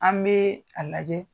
An bɛ a lajɛ